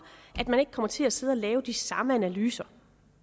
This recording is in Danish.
at man ikke kommer til at sidde og lave de samme analyser